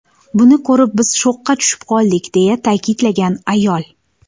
Buni ko‘rib, biz shokka tushib qoldik”, deya ta’kidlagan ayol.